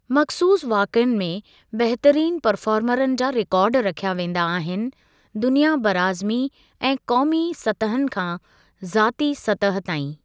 मख़सूसु वाक़िअनि में बहितरीनु परफ़ार्मरनि जा रिकार्ड रखिया वेंदा आहिनि दुनिया बराअज़मी ऐं क़ौमी सतहुनि खां ज़ाती सतह ताईं।